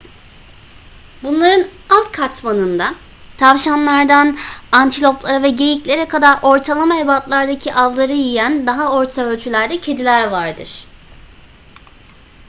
bunların alt katmanında tavşanlardan antiloplara ve geyiklere kadar ortalama ebatlardaki avları yiyen daha orta ölçülerde kediler vardır